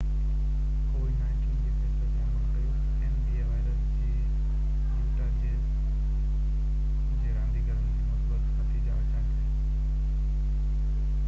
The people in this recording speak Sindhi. covid-19 وائرس جي يوٽا جيز جي رانديگرن جي مثبت نتيجا اچڻ تي nba جي فيصلي تي عمل ڪيو